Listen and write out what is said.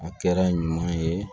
A kɛra ɲuman ye